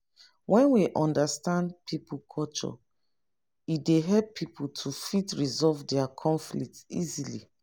when we understand pipo culture e dey help pipo to fit resolve their conflict easily